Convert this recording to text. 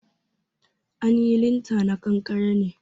An yi linta na kankare ne